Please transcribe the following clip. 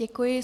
Děkuji.